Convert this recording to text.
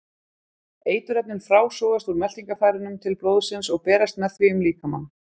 Eiturefnin frásogast úr meltingarfærunum til blóðsins og berast með því um líkamann.